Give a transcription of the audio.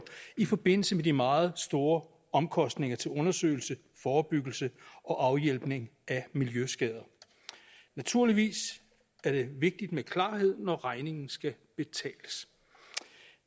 i forbindelse med de meget store omkostninger til undersøgelse forebyggelse og afhjælpning af miljøskader naturligvis er det vigtigt med klarhed når regningen skal betales